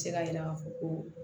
Se ka yira k'a fɔ ko